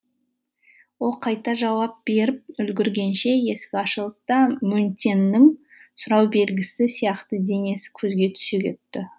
ол қайта жауап беріп үлгіргенше есік ашылды да мөнтеннің сұрау белгісі сияқты денесі көзге түсе кетті